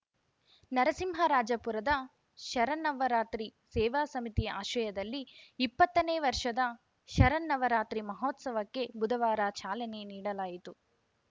ನರಸಿಂಹರಾಜಪುರದ ಶರನ್ನವರಾತ್ರಿ ಸೇವಾ ಸಮಿತಿ ಆಶ್ರಯದಲ್ಲಿ ಇಪ್ಪತ್ತನೇ ವರ್ಷದ ಶರನ್ನವರಾತ್ರಿ ಮಹೋತ್ಸವಕ್ಕೆ ಬುಧವಾರ ಚಾಲನೆ ನೀಡಲಾಯಿತು